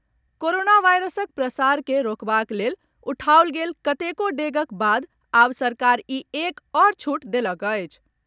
Corona वायरसक प्रसार के रोकबाक लेल उठाओल गेल कतेको डेगक बाद आब सरकार ई एक आओर छूट देलक अछि।